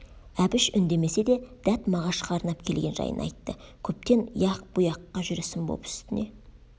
әбіш үндемесе де дәт мағашқа арнап келген жайын айтты көптен яқ бұ яққа жүрісім боп үстіне